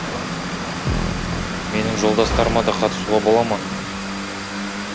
менің жолдастарыма да қатысуға бола ма